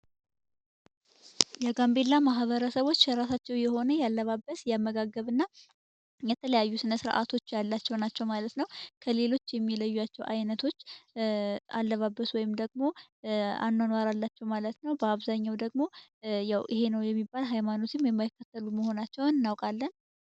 የጋምቤላ ማህበረሰቦች የራሳቸው የሆነ የአለባበስ የአመጋገብ እና የተለያየ ስነ ስርዓቶች ያላቸው ናቸው ማለት ነው ከሌሎች የሚለዩቸው አይነቶች አለባበስ ወይም ደግሞ አኗኗር አላቸው ማለት ነው በአብዛኛው ደግሞ ይህ ነው የሚባል ሃይማኖት የማይከተሉ መሆናቸውን እናምናለን።